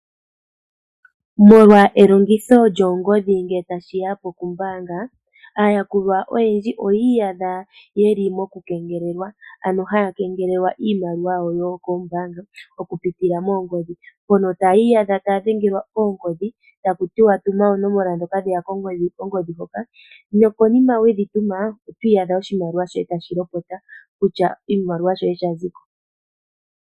Molwa elongitho lyoongodhi ngele tashi ya pokumbaanga, aayakulwa oyendji oye i yadha yeli mokukengelelwa ano haya kengelelwa iimaliwa yawo yokoombaanga okupitila moongodhi, mpono taya i yadha taadhengelwa oongodhi taku tiwa tuma oonomola dhoka dhe ya kongodhi hoka nokonima we dhi tuma otwiiyadha oshimaliwa shoye tashi lopota kutya oshimaliwa shoye sha ziko.